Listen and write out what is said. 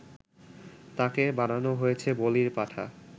তাকে বানানো হয়েছে বলির পাঠা